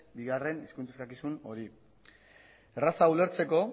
bigarren hizkuntz eskakizun hori erraza ulertzeko